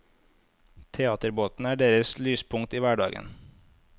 Teaterbåten er deres lyspunkt i hverdagen.